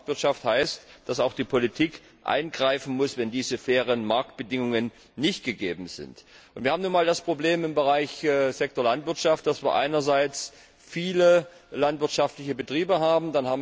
Soziale Marktwirtschaft heißt, dass auch die Politik eingreifen muss, wenn diese fairen Marktbedingungen nicht gegeben sind. Wir haben nun einmal das Problem im Sektor Landwirtschaft, dass wir einerseits viele landwirtschaftliche Betriebe haben.